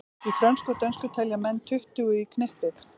Í frönsku og dönsku telja menn tuttugu í knippið.